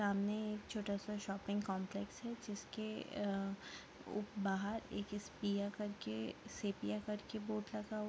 सामने एक छोटा सा शॉपिंग काम्प्लेक्स है जिसके आ उप-- बाहर एक स्पेयर करके सिपीअर बोर्ड लगा हुआ --